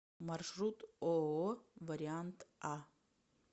маршрут ооо вариант а